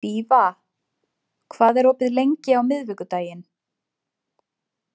Fífa, hvað er opið lengi á miðvikudaginn?